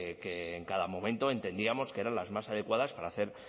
que en cada momento entendíamos que eran las más adecuadas para hacer